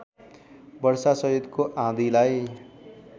वर्षासहितको आँधीलाई